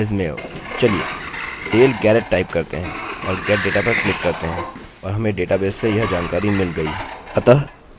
अतः आप देख सकते हैं कि अपने डेटा में फॉर्म सम्मिलित करने के लिए यह काफी उपयोगी है